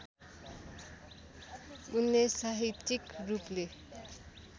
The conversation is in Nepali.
उनले साहित्यिक रूपले